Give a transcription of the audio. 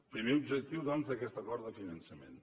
primer objectiu doncs d’aquest acord de finançament